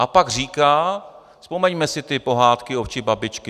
A pak říká - vzpomeňme si ty pohádky ovčí babičky: